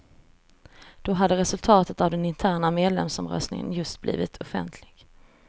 Då hade resultatet av den interna medlemsomröstningen just blivit offentligt.